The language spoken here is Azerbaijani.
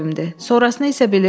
Sonrasını isə bilirsiz.